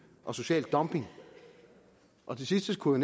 og social dumping og det sidste skulle